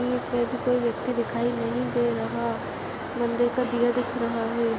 इसमे अभी कोई व्यक्ति दिखाई नहीं दे रहा मंदिर का दिया दिख रहा है।